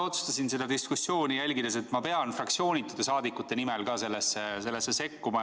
Ma otsustasin seda diskussiooni jälgides, et ma pean fraktsioonitute saadikute nimel ka sellesse sekkuma.